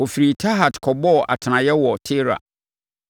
Wɔfirii Tahat kɔbɔɔ atenaeɛ wɔ Tera.